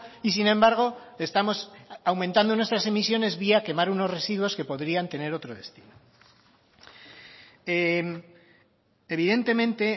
y sin embargo estamos aumentando nuestras emisiones vía quemar unos residuos que podrían tener otro destino evidentemente